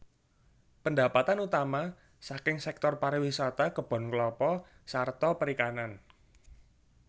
Pendapatan utama saking sektor pariwisata kebon klapa sarta perikanan